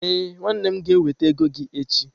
Ee, nwannem ga-eweta ego gi echi.